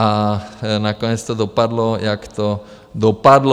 A nakonec to dopadlo, jak to dopadlo.